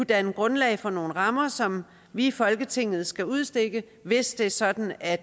danne grundlag for nogle rammer som vi i folketinget skal udstikke hvis det er sådan at